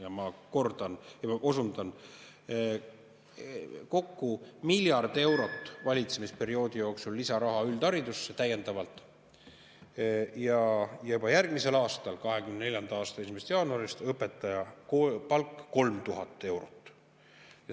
Ja ma osundan: valitsemisperioodi jooksul kokku miljard eurot täiendavat lisaraha üldharidusse ja juba järgmisel aastal, alates 2024. aasta 1. jaanuarist õpetaja palk 3000 eurot.